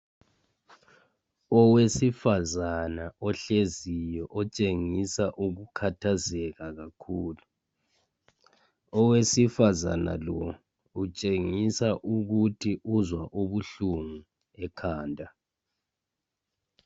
Owesifazana ohleziyo otshengisa ukukhathazeka kakhulu owesifazana utshengisa ukuthi uzwa ubuhlungu ekhanda